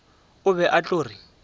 o be a tlo re